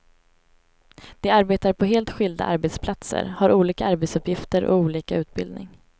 De arbetar på helt skilda arbetsplatser, har olika arbetsuppgifter och olika utbildning.